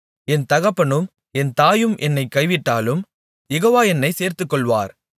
என் தகப்பனும் என் தாயும் என்னைக் கைவிட்டாலும் யெகோவா என்னைச் சேர்த்துக்கொள்ளுவார்